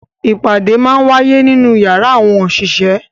Awọn ipade màa ǹ waye ninu yara awọn oṣiṣẹ